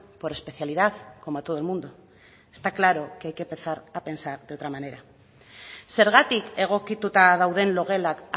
por especialidad como a todo el mundo está claro que hay que empezar a pensar de otra manera zergatik egokituta dauden logelak